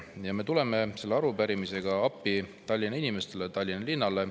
Ja me tuleme selle arupärimisega appi Tallinna inimestele, Tallinna linnale.